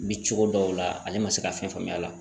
Bi cogo dɔw la ale ma se ka fɛn faamuya la